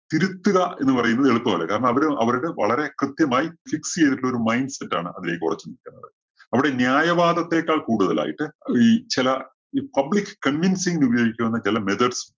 തിരുത്തുക എന്ന് പറയുന്നത് എളുപ്പമല്ല. കാരണം അവര് അവരുടെ വളരെ കൃത്യമായി fix ചെയ്തിട്ടുള്ള ഒരു mind set ആണ് അതിലേക്ക് ഉറച്ച് . അവിടെ ന്യായവാദത്തെക്കാൾ കൂടുതൽ ആയിട്ട് ഈ ചില ഈ public convincing ഉപയോഗിക്കാവുന്ന ചെല methods